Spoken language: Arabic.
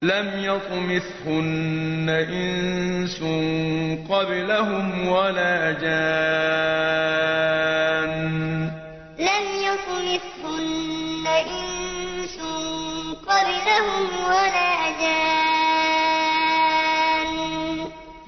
لَمْ يَطْمِثْهُنَّ إِنسٌ قَبْلَهُمْ وَلَا جَانٌّ لَمْ يَطْمِثْهُنَّ إِنسٌ قَبْلَهُمْ وَلَا جَانٌّ